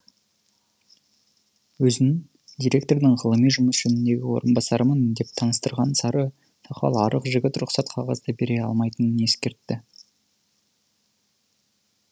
өзін директордың ғылыми жұмыс жөніндегі орынбасарымын деп таныстырған сары сақал арық жігіт рұқсат қағазды бере алмайтынын ескертті